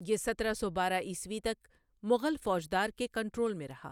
یہ سترہ سو بارہ عیسوی تک مغل فوجدار کے کنٹرول میں رہا۔